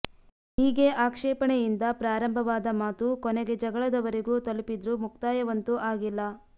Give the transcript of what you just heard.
ಹೀಗೆ ಆಕ್ಷೇಪಣೆಯಿಂದ ಪ್ರಾರಂಭವಾದ ಮಾತು ಕೊನೆಗೆ ಜಗಳದವರೆಗೂ ತಲುಪಿದ್ರೂ ಮುಕ್ತಾಯವಂತೂ ಆಗಿಲ್ಲ